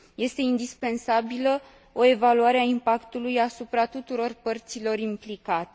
Este indispensabilă o evaluare a impactului asupra tuturor părților implicate.